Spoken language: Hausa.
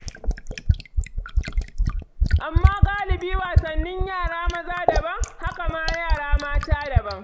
Amma galibi wasannin yara maza daban, haka ma na yara mata daban.